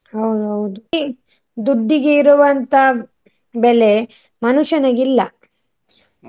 ಹೌದೌದು. ಈಗ ದುಡ್ಡಿಗೆ ಇರುವಂತ ಬೆಲೆ ಮನುಷ್ಯನಿಗೆ ಇಲ್ಲ.